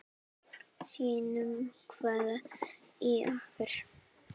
Sýnum hvað í okkur býr.